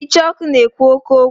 Icheoku na-ekwu oke okwu.